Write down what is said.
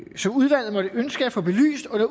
som udvalget måtte ønske at få belyst under